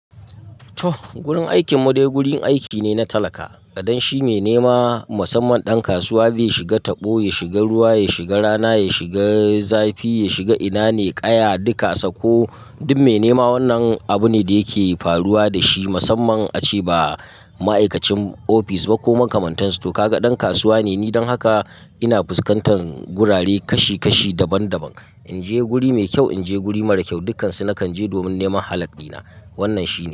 Toh, gurin aikin mu dai gurin aiki ne na talaka. Kaɗan shi mai nema musamman ɗan kasuwa, zai shiga taɓo, ya shiga ruwa, ya shiga rana, ya shiga zafi, ya shiga ina ne, ƙaya, duka sako. Duk mai nema wannan abu ne da yake faruwa da shi musamman a ce ba ma'aikacin ofis ba ko makamantansu. To ka ga ɗan kasuwa ne. Ni don haka ina fuskantar gurare kashi kashi daban daban. In je guri mai kyau, in je guri mara kyau, dukansu nakan je domin neman halak ɗi na. Wannan shi ne.